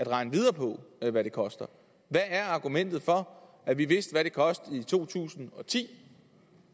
regne videre på hvad det koster hvad er argumentet for at vi vidste hvad det kostede i to tusind og ti